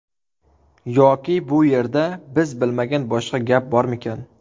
Yoki bu yerda biz bilmagan boshqa gap bormikan?